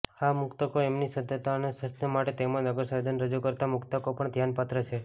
આ મુક્તકો એમની સુદઢતા અને સુશ્લિષ્ટતા માટે તેમજ નગરસંવેદને રાજુ કર્તા મુક્તકો પણ ધ્યાનપાત્ર છે